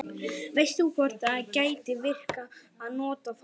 veist þú hvort það gæti virkað að nota það